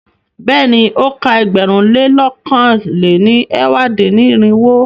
Bẹ́ẹ̀ni, o ka ẹgbẹ̀rún lé lọ̀kan lé ní ẹ̀wá dín-ní-irinwó.